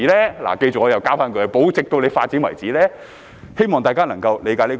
大家記着，我又要加上一句"保留直至政府要發展為止"，希望大家能夠理解這一點。